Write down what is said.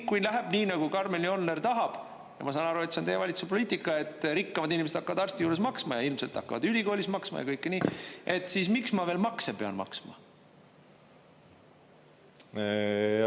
Kui läheb nii, nagu Karmen Joller tahab, ja ma saan aru, et see on teie valitsuse poliitika, et rikkamad inimesed hakkavad arsti juures maksma ja ilmselt hakkavad ülikoolis maksma, et siis miks ma veel makse pean maksma?